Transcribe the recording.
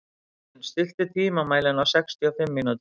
Iðunn, stilltu tímamælinn á sextíu og fimm mínútur.